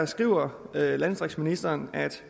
skriver landdistriktsministeren